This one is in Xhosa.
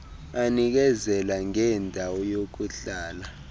anikezela ngendawo yokuhlala